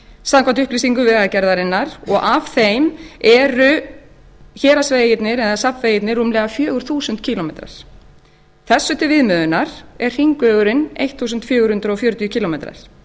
samkvæmt upplýsingum vegagerðarinnar og af þeim eru héraðsvegirnir eða safnvegirnir rúmlega fjögur þúsund kílómetrar þessu til viðmiðunar er hringvegurinn fjórtán hundruð fjörutíu kílómetrar